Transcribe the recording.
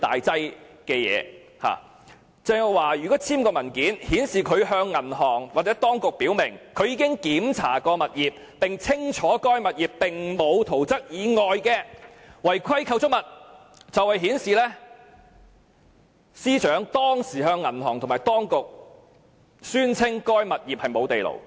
鄭若驊簽署該等文件，即顯示她向銀行或當局表明，她已檢查該物業並清楚知道該物業並沒有圖則以外的違規構築物，亦顯示她當時是向銀行和當局宣稱該物業並無地庫。